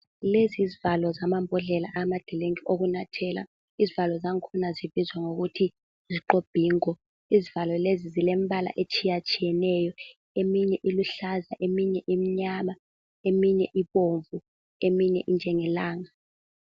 Lezi yizivalo zamambodlela amadrink okunathela izivalo zankhona zibizwa ngokuthi yisqobhingo. Izivalo lezi zilombala otshiya tshiyeneyo, eminye iluhlaza eminye imnyama eminye ibomvu eminye injenge langa.